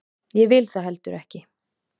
Ég vil það heldur ekki.